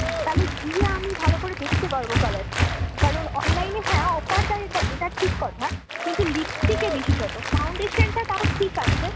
তালে গিয়ে আমি ভালো করে দেখতে পারবো colour টা। কারণ online এ হ্যাঁ offer দেয় এটা ঠিক কথা। কিন্তু lipstick এ বিশেষতঃ foundation টা তাও ঠিক আছে।